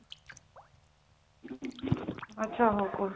ଆଚ୍ଛା ହଉ କହୁଛି